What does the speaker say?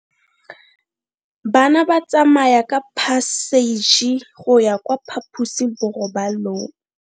Bana ba tsamaya ka phašitshe go ya kwa phaposiborobalong.